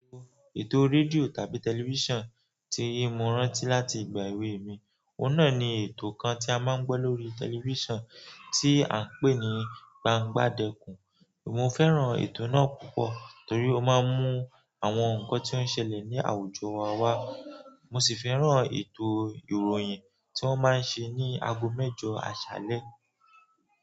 Ètò rédíò tàbí tẹlifísàn tí i mo rántí láti ìgbà èwe mi, ọ̀nà ni ètò kan tí a máa ń gbọ́ lórí tẹlifísàn tí à ń pè ní Gbangbadẹkùn. Mo fẹ́ràn ètò náà púpọ̀ torí ó máa ń mú àwọn nǹkan tí ó ń ṣẹlẹ̀ ní àwùjọ wa wá. Mo sì fẹ́ràn ètò ìròyìn tí wọ́n máa ń ṣe ní ago mẹ́jọ àṣálẹ́.